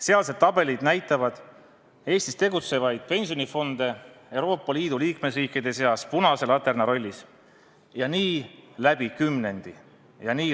Sealsed tabelid näitavad Eestis tegutsevaid pensionifonde Euroopa Liidu liikmesriikide seas punase laterna rollis ja nii läbi kümnendi.